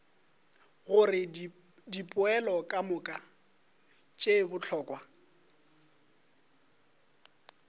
gore dipoelo kamoka tše bohlokwa